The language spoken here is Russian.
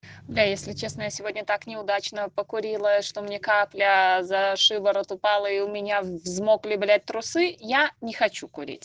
да если честно я сегодня так неудачно покурила что мне капля за шиворот упала и у меня взмокли блять трусы я не хочу курить